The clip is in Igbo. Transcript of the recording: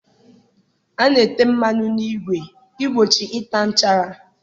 A na-ete mmanụ n'igwe igbochi ịta nchara.